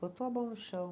Botou a mão no chão.